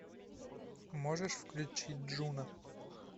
можешь включить джуна